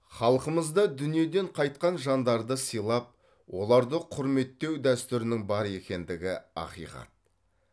халқымызда дүниеден қайтқан жандарды сыйлап оларды құрметтеу дәстүрінің бар екендігі ақиқат